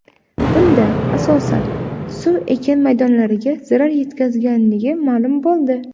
Bunda, asosan, suv ekin maydonlariga zarar yetkazganligi ma’lum bo‘ldi.